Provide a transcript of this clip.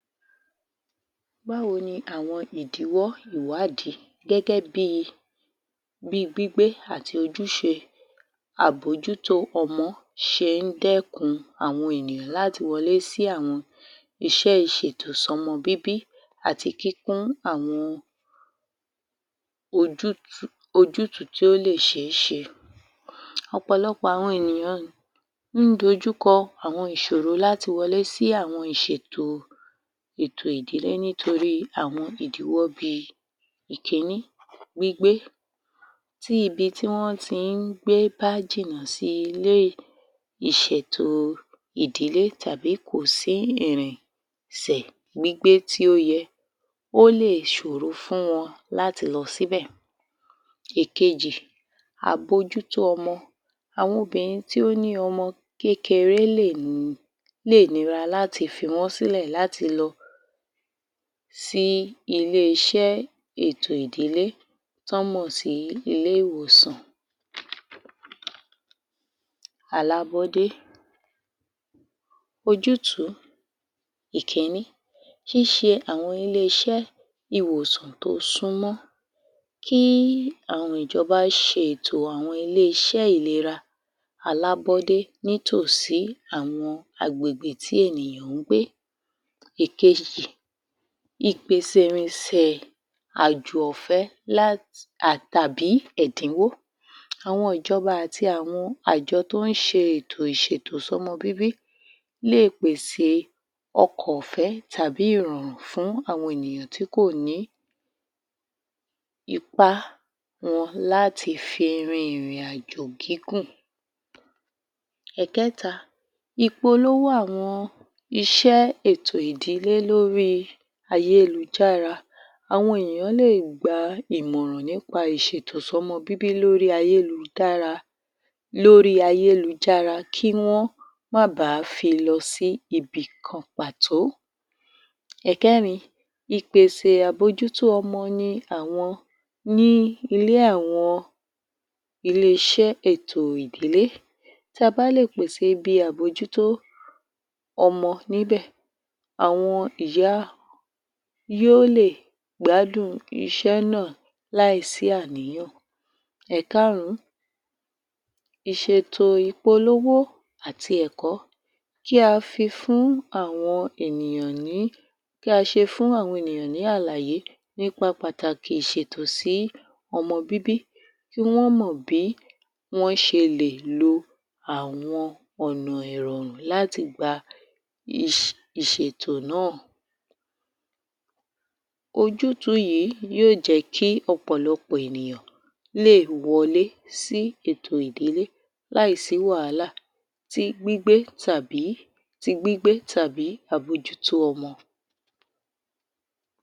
báwo ni àwọn ìdíwọ́ ìwádí gẹ́gẹ́ bí i bí gbígbé àti ojúse àbójútó ọmọ se dékun àwọn è̀nìyàn láti wọ lé sí àwọn iṣẹ́ ìsètò sọ́mọ bíbí àti kíkún àwọn ojú t́ ú ojútú tó lè se á se ọ̀pòlọpọ̀ àwọn ènìyàn ri ún dojú kọ àwọn ìsòro láti wo lé sí àwọn ìsètò èto ìdìlé nítorí àwọn ìdíwọ́ bí i èkíní gbígbé tí ibi tí wọ́n ti gbé bá jìnà sí ilé ìsètò ìdílé tà́bí kòsí ìrìn sẹ̀ gbígbé tí ó yẹ ó lè sòro fún wọn láti lọ síbè èkejì àbojútó ọmọ àwọn obìnrin to ́ ní ọmọ kékeré lèní lé nira láti fi wọ́n sílẹ̀ láti lo sí ilé -iṣẹ́ ètò ìdílé tó mọ̀ sí ilé -ìwòsàn alábódé ojútú ìkíní ti ́ se àwọn ilé-iṣẹ́ ìwòsàn tó súnmọ́ kí àwọn ìjọba se ètò àwọn ilé- iṣẹ́ ìlera alábódé ní tò sí àwọn agbègbè tí ènìyàn gbé ìkejì ìpèsè ìrinsẹ̀ àjò ọ̀fẹ́ lá tàbí ẹ̀díwó àwọn ìjọba àti àwọn àjọ tó se ètò ṣètò sọ́mọ bíbí lé pèsè ọkọ̀ ọ̀fẹ́ tàbí ìrọ̀rùn fún ènìyàn tí ko ní ipá wọn láti fi rin ìrìnàjò gígùn ẹ̀kẹ́ta ìpolówó àwọn iṣẹ́ ètò ìdílé lóri ayélujára awọn ènìyàn lè gba ìmọ̀ràn nípa ìṣètò sọ́mọ bíbí lórí ayélujára lórí ayélujára, kí wọ́n má ba fi lọ sí ibi kan pàtó ẹ̀kẹ́rin ìpèsè àbojútó ọmọ ni àwọn ní ilé àwọn ilé -iṣẹ́ ètò ìdíle ta bá lè pèsè ibi àbójútó ọmọ níbẹ̀ àwọn ìyá yó lè gbádùn iṣẹ́ náà láì sí àníyàn ẹ̀kárún ìṣètò ìpolówó àti ẹ̀kọ́ kí a fi fún àwọn ènìyàn ní kí a ṣe fún àwọn ènìyàn ní àlàyé nípa pàtàkì ìsètò sí ọmọ bíbí tí wọ́n mọ̀ bí wọ́n ṣe lè lo àwọn ọ̀nà ìrọ̀rùn láti gba??, ìṣètò náà ojútú yìí yó jẹ́ kí ọ̀pọ̀lọpọ̀ ènìyàn lè wọlé sí ètò ìdílé lái sí wàhálà tí gbígbé tàbí ti gbígbé tàbí àbojútó ọmọ